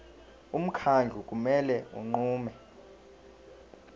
umkhandlu kumele unqume